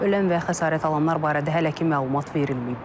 Ölən və xəsarət alanlar barədə hələ ki məlumat verilməyib.